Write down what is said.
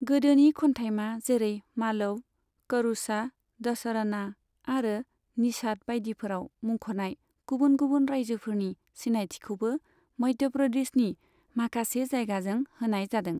गोदोनि खन्थाइमा जेरै मालव, करूषा, दसरना आरो निषाद बाइदिफोराव मुंखनाय गुबुन गुबुन रायजोफोरनि सिनायथिखौबो मध्य प्रदेशनि माखासे जायगाजों होनाय जादों।